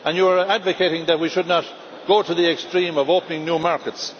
You are advocating that we should not go to the extreme of opening new markets.